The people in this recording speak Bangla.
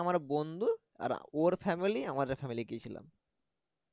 আমার বন্ধু আর ওর family আমাদের family গিয়োছলাম